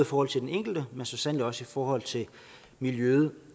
forhold til den enkelte men så sandelig også i forhold til miljøet